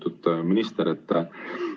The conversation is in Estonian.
Lugupeetud minister!